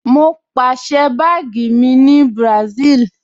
Mo pàsẹ́ báàgì mi láti Bùràṣíìlì